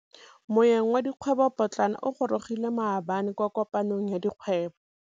Moêng wa dikgwêbô pôtlana o gorogile maabane kwa kopanong ya dikgwêbô.